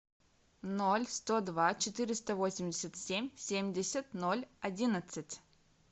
ноль сто два четыреста восемьдесят семь семьдесят ноль одиннадцать